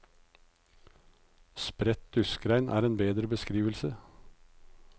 Spredt duskregn er en bedre beskrivelse.